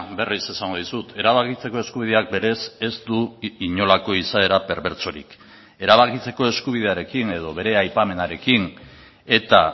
berriz esango dizut erabakitzeko eskubideak berez ez du inolako izaera perbertsorik erabakitzeko eskubidearekin edo bere aipamenarekin eta